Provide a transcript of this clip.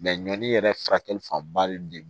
ɲɔni yɛrɛ furakɛli fanba de